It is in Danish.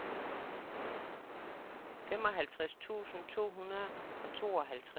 femoghalvtreds tusind to hundrede og tooghalvtreds